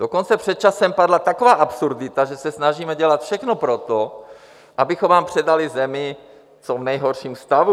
Dokonce před časem padla taková absurdita, že se snažíme dělat všechno pro to, abychom vám předali zemi v co nejhorším stavu.